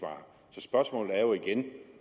spørgsmålet igen